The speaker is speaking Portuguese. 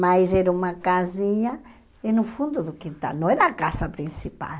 mas era uma casinha no fundo do quintal, não era a casa principal.